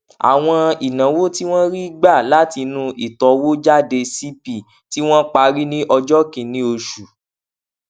àwọn ìnáwó tí wọn rí gbà látinú ìtọwójáde cp tí wọn parí ní ọjọ kìíní oṣù